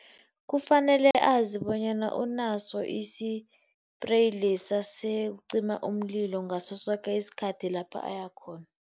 Kufanele azi bonyana unaso isipreyi lesa sokucima umlilo ngaso soke isikhathi lapha ayakhona.